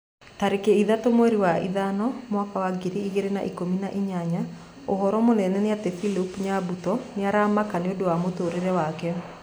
Tarĩki ithatũ mweri wa ĩtano mwaka wa ngiri igĩrĩ na ikũmi na inyanya ũhoro mũnene nĩ ati philip nyabuto nĩ aramaka nĩũndũ wa mũtũrĩre wake